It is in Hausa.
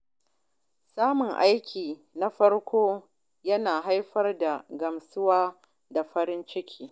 Samun aiki na farko yana haifar da gamsuwa da farin ciki.